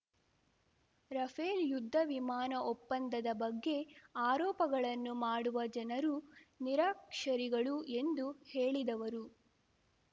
Rafale ಯುದ್ಧವಿಮಾನ ಒಪ್ಪಂದದ ಬಗ್ಗೆ ಆರೋಪಗಳನ್ನು ಮಾಡುವ ಜನರು ನಿರಕ್ಷರಿಗಳು ಎಂದು ಹೇಳಿದವರು